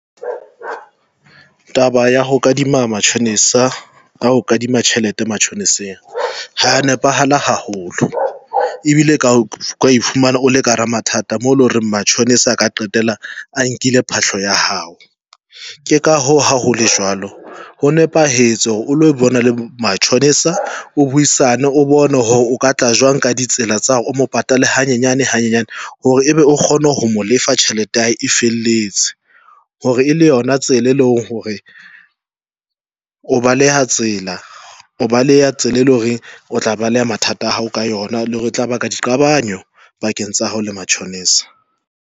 Taba ya ho kadima mashonisa a ho kadima tjhelete mashoniseng ha ya nepahala haholo ebile ka ifumana o le ka hara mathata mole hore mashonisa a ka qetella a nkile phahlo ya hao. Ke ka hoo ha hole jwalo ho nepahetse hore o lo bona le mashonisa, o buisane, o bone hore o ka tla jwang ka ditsela tsa hore o mo patale hanyane hanyane hore ebe o kgone ho mo lefa tjhelete ya hae e felletse, hore e le yona tsela, e leng hore o baleha tsela, o baleha tsela, e leng hore o tla baleha mathata a hao ka yona le hore e tla ba ka diqabanyo pakeng tsa hao le mashonisa.